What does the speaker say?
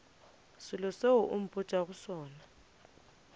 selo seo o mpotšago sona